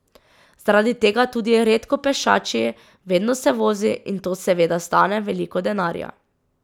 Zaradi tega tudi redko pešači, vedno se vozi, in to seveda stane veliko denarja.